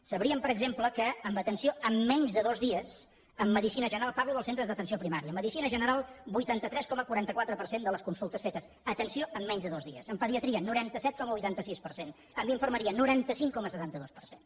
sabrien per exemple que en atenció en menys de dos dies en medicina general parlo dels centres d’atenció primària vuitanta tres coma quaranta quatre de les consultes fetes atenció en menys de dos dies en pediatria noranta set coma vuitanta sis per cent en infermeria noranta cinc coma setanta dos per cent